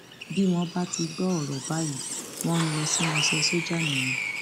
bí wọn bá ti gbọ ọrọ báyìí wọn ń lọ sínú iṣẹ sójà nìyẹn